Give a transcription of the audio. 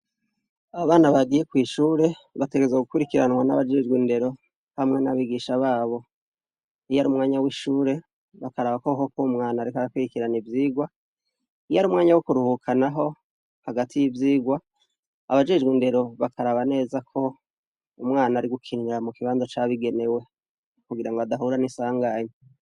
Abana Nagiye kw’ishure bategerezwa gukurikiranwa n’abajejwe indero hamwe n’abihisha babo, iyarunwanya w’ishuri, bakaraba koko k’uwo mwana ariko arakwirikirana ivyigwa. Iyarumwanya wo kuruhuka naho hagati y’ivyigwa , abajejw’indero bakaraba neza ko umwana arigukinira mukibanza cabigenewe kugira adahura ninsanganya.